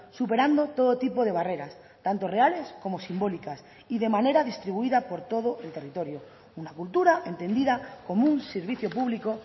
superando todo tipo de barreras tanto reales como simbólicas y de manera distribuida por todo el territorio una cultura entendida como un servicio público